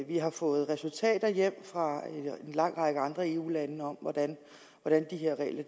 vi har fået resultater hjem fra en lang række andre eu lande om hvordan de her regler